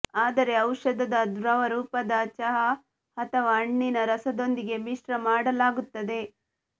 ಆದರೆ ಔಷಧದ ದ್ರವರೂಪದ ಚಹಾ ಅಥವಾ ಹಣ್ಣಿನ ರಸದೊಂದಿಗೆ ಮಿಶ್ರ ಮಾಡಲಾಗುತ್ತದೆ